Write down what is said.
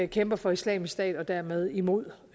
kæmper for islamisk stat og dermed imod